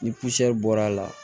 Ni bɔr'a la